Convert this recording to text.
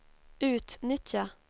utnyttja